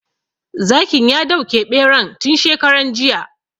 Zakin ya dauke ɓeran tun shekaran jiya